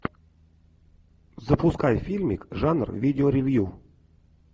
запускай фильмик жанр видео ревью